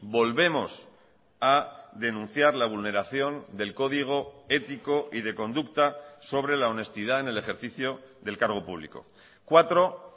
volvemos a denunciar la vulneración del código ético y de conducta sobre la honestidad en el ejercicio del cargo público cuatro